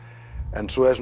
en svo er